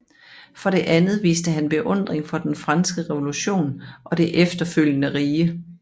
For det andet viste han beundring for den franske revolution og det efterfølgende rige